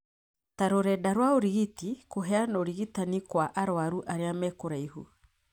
ta rũrenda rwa ũrigiti, kũheana ũrigitani kwa arwaru arĩa me kũraihu.